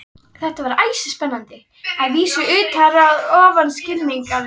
Þetta var æsispennandi, að vísu utar og ofar skilningi hans.